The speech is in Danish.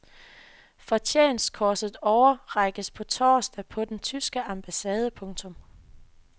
Fortjenstkorset overrækkes på torsdag på den tyske ambassade. punktum